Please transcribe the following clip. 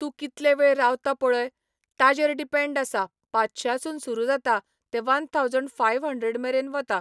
तूं कितलें वेळ रावता पळय, ताजेर डिपँड आसा पांचशासून सुरू जाता तें वन थावजंड फाय हंड्रेड मेरेन वता.